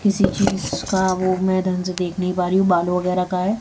किसी चीज का वो मैं ढंग से देख नहीं पा रही हूं बाल वगैरा का है।